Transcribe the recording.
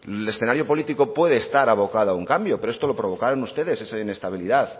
el escenario político puede estar abocado a un cambio pero esto lo provocaron ustedes esa inestabilidad